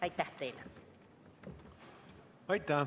Aitäh teile!